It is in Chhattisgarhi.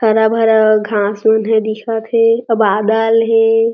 हरा-भरा घास मन ह दिखत हे अ बादल हे।